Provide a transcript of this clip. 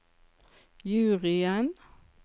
juryen